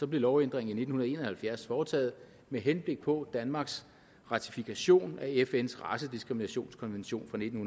blev lovændringen i nitten en og halvfjerds foretaget med henblik på danmarks ratifikation af fns racediskriminationskonvention fra nitten